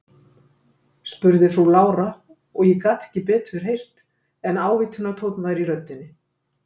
spurði frú Lára, og ég gat ekki betur heyrt en ávítunartónn væri í röddinni.